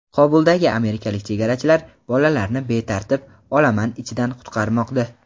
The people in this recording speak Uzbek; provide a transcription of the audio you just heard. Qobuldagi amerikalik "chegarachilar" bolalarni betartib olaman ichidan qutqarmoqda.